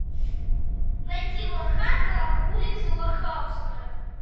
найти лоха на улице лохавская